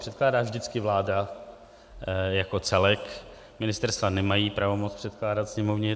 Předkládá vždycky vláda jako celek, ministerstva nemají pravomoc předkládat Sněmovně.